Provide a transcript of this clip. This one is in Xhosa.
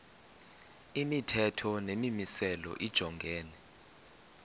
imithetho nemimiselo lijongene